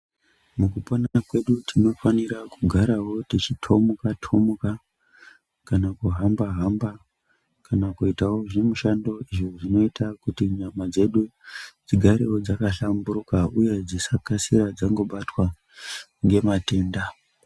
Mukupona kwedu, tinofanira kugarawo tichithomuka-thomuka ,kana kuhamba-hamba kana kuitawo zvimishando izvo, zvinoita kuti nyama dzedu, dzigarewo dzakahlamburuka, uye dzisakasira dzangobatwa ngematenda.